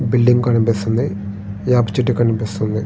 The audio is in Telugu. బిల్డింగ్ కనిపిస్తుంది. వేప చెట్టు కనిపిస్తూ ఉంది.